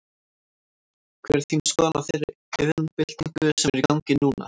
Hver er þín skoðun á þeirri iðnbyltingu sem er í gangi núna?